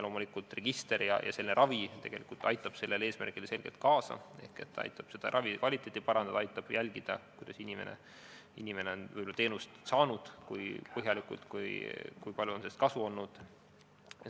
Loomulikult, register aitab selle eesmärgi saavutamisele selgelt kaasa ehk ta aitab ravi kvaliteeti parandada, aitab jälgida, kas inimene on teenust saanud, kui põhjalikult on ta seda saanud, kui palju on sellest kasu olnud.